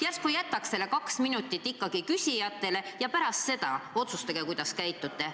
Järsku jätaks selle kaks minutit ikkagi küsijatele ja pärast seda otsustage, kuidas käitute.